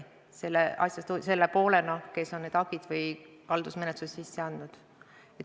Tema jätkab selle poolena, kes on need hagid sisse andnud või haldusmenetluse algatanud.